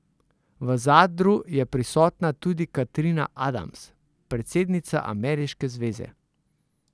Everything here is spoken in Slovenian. V Zadru je prisotna tudi Katrina Adams, predsednica ameriške zveze.